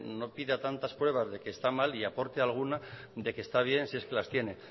no pida tantas pruebas de que está mal y aporte alguna de que está bien si es que las tiene